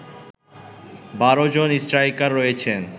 ১২ জন স্ট্রাইকার রয়েছেন